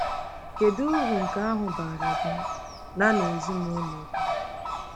Kedu uru nke ahụ baara gị na na ezinụlọ gị?